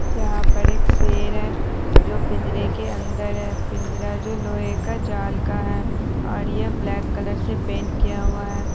यहाँ पर एक शेर है जो पिंजड़े के अंदर है पिंजड़ा जो लोहे का जाल का है और यह ब्लैक कलर से पेंट किया हुआ है।